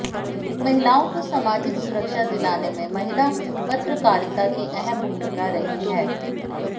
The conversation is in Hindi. महिलाआें को सामाजिक सुरक्षा दिलाने में महिला पत्रकारिता की अहम भूमिका रही है